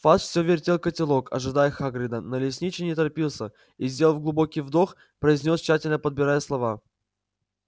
фадж все вертел котелок ожидая хагрида но лесничий не торопился и сделав глубокий вдох произнёс тщательно подбирая слова